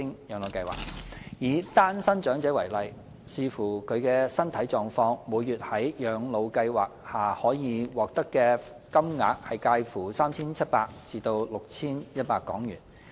以單身長者為例，視乎其身體狀況，每月在養老計劃下可獲發金額介乎 3,700 港元至 6,100 港元。